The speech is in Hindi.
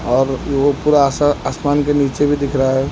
और वो पूरा अस आसमान के नीचे भी दिख रहा है।